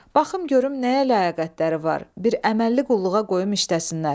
Baxım görüm nəyə ləyaqətləri var, bir əməlli qulluğa qoyum işdəsinlər.